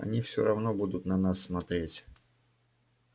они всё равно будут на нас смотреть